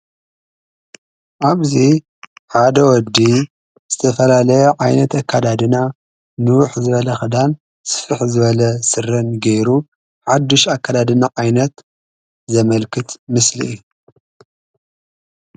ኣብዚ ሓደ ወዲ ዝተፋላለየ ዓይነት ኣከዳድና ንዉሕ ዝበለ ክዳን ስፍሕ ዝበለ ስረ ገይሩ ሓድሽ ኣከዳድና ዓይነት ዘመልክት ምስሊ እዩ፡፡